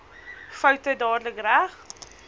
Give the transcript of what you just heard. foute dadelik reg